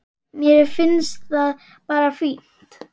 Mér finnst það bara fínt.